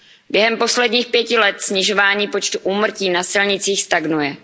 Během posledních pěti let snižování počtu úmrtí na silnicích stagnuje.